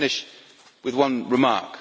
Let me finish with one remark.